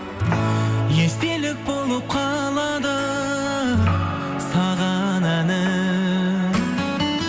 естелік болып қалады саған әнім